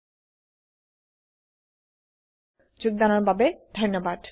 এই টিউটোৰিয়েল ত অংশগ্ৰহন কৰাৰ বাবে ধন্যবাদ